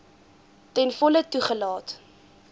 ten volle toegelaat